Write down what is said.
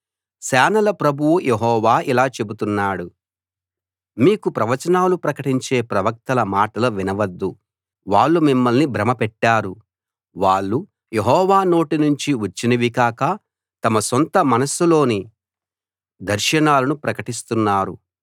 సేనల ప్రభువు యెహోవా ఇలా చెబుతున్నాడు మీకు ప్రవచనాలు ప్రకటించే ప్రవక్తల మాటలు వినవద్దు వాళ్ళు మిమ్మల్ని భ్రమపెట్టారు వాళ్ళు యెహోవా నోటి నుంచి వచ్చినవి కాక తమ సొంత మనస్సులోని దర్శనాలను ప్రకటిస్తున్నారు